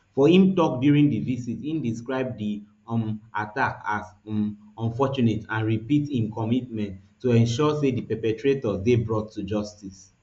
for im tok during di visit e describe di um attack as um unfortunate and repeat im commitment to ensuring say di perpetrators dey brought to justice